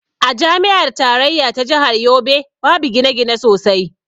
A jami'ar tarayya ta jahar yobe babu gine-gine sosai.